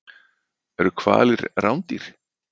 Eru hvalir rándýr?